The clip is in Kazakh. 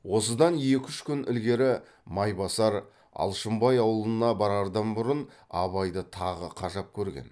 осыдан екі үш күн ілгері майбасар алшынбай аулына барардан бұрын абайды тағы қажап көрген